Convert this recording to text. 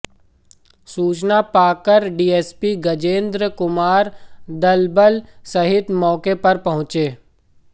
सूचना पाकर डीएसपी गजेंद्र कुमार दलबल सहित मौके पर पहुंचे